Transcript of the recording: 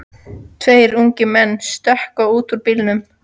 Tveir ungir menn stökkva út úr bílnum.